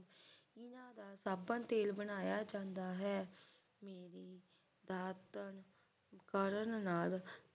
ਇਹਨਾਂ ਦਾ ਸਾਬਣ ਤੇਲ ਬਣਾਇਆ ਜਾਂਦਾ ਹੈ ਮੇਰੀ ਦਾਤਣ ਕਰਨ ਨਾਲ